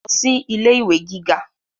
lọ sí ilé ìwé gíga